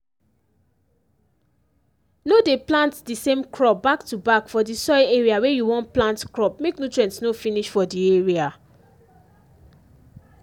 no dey plant di same crop back-to-back for di soil area wey you wan use plant crop make nutrient no finish for di area